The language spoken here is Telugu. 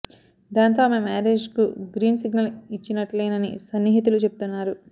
దాంతో ఆమె మ్యారేజ్ కు గ్రీన్ సిగ్నల్ ఇచ్చినట్లేనని సన్నిహితులు చెప్తున్నారు